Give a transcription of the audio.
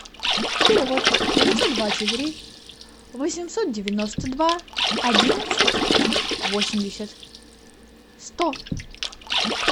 перевод девятьсот двадцать три восемьсот девяносто два одиннадцать восемьдесят сто